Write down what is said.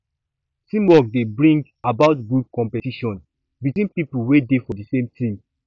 teamwork dey bring about good competition between pipo wey dey for the same team